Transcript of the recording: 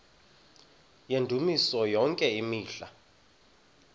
yendumiso yonke imihla